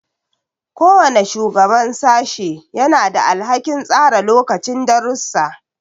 Kowane shugaban sashe yana da alhakin tsara lokacin darussa.